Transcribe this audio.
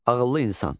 Ağıllı insan.